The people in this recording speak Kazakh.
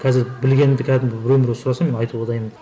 қазір білгенімді кәдімгі біреу міреу сұраса мен айтуға дайынмын